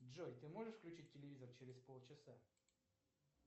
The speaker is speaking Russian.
джой ты можешь включить телевизор через пол часа